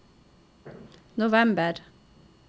november